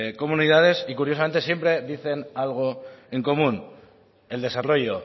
comunidades y curiosamente siempre dicen algo en común el desarrollo